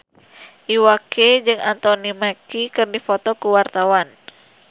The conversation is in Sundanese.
Iwa K jeung Anthony Mackie keur dipoto ku wartawan